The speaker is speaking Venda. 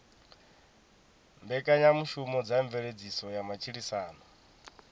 mbekanyamushumo dza mveledziso ya matshilisano